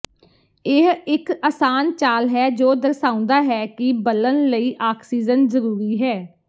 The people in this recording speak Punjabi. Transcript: ਇਹ ਇਕ ਆਸਾਨ ਚਾਲ ਹੈ ਜੋ ਦਰਸਾਉਂਦਾ ਹੈ ਕਿ ਬਲਨ ਲਈ ਆਕਸੀਜਨ ਜ਼ਰੂਰੀ ਹੈ